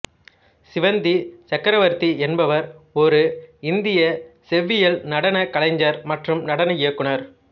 ஸ்ரீவந்தி சக்ரவர்த்தி என்பவர் ஒரு இந்திய செவ்வியல் நடனக் கலைஞர் மற்றும் நடன இயக்குநர்